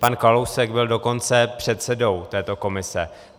Pan Kalousek byl dokonce předsedou této komise.